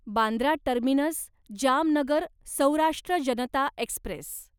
Bandra terminus Jamnagar Saurashtra Janata Express